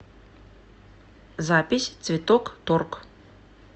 запись цветокторг